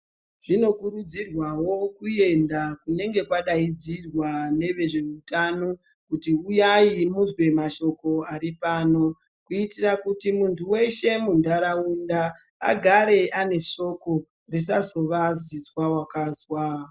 Tinokurudzirwawo kuenda kunenge kwadaidzirwa nevezveutano, kuti uyai muzwe mashoko ari pano, Kuitira kuti muntu weshe muntaraunda agare ane soko, risazova zizwa wakazwa.